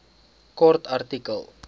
kort artikel